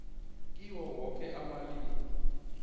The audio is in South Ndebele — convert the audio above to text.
kiwo woke amalimi